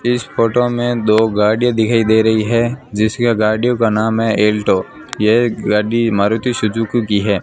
इस फोटो में दो गाड़ियां दिखाई दे रही हैं जिसका गाड़ियों का नाम है अल्टो ये गाड़ी मारुति सुजुकी की है।